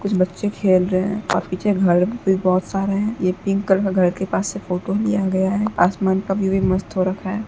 कुछ बच्चे खेल रहें हैं अ पीछे घर भी बहुत सारे है ये पिंक कलर के घर के पास से फोटो लिया गया है आसमान कभी भी मस्त हो रखा है।